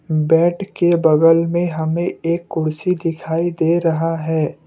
Bed के बगल में हमें एक कुर्सी दिखाई दे रहा है।